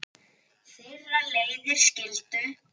Þeirra leiðir skildu.